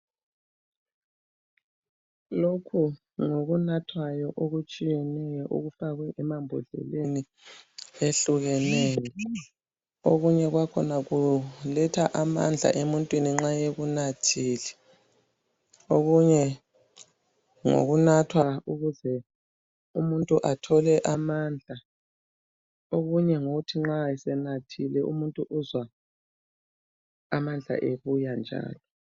Lokhu ngokunathwayo okutshiyeneyo okufakwe emambodleleni ehlukeneyo okunyekwakhona kuletha amandla emuntwini nxa ekunathile okunye ngokunathwa ukuze umuntu athole amandla okunye ngokokuthi nxa esenathile umuntu uzwa amandla esebuyanjalo